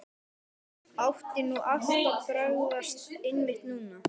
Átti nú allt að bregðast, einmitt núna?